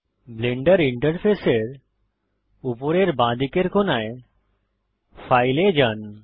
Blender ইন্টারফেসের উপরের বাঁদিকের কোনায় ফাইল এ যান